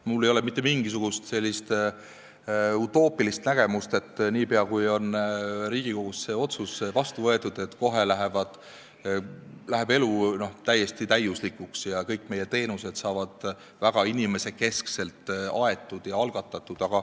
Mul ei ole mitte mingisugust utoopilist ootust, et niipea, kui Riigikogus on see otsus vastu võetud, läheb elu täiesti täiuslikuks ja kõik meie teenused muutuvad väga inimesekeskseks.